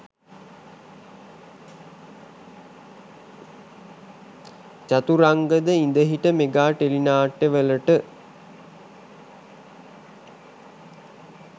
චතුරංග ද ඉඳහිට mega tele නාට්‍ය වලට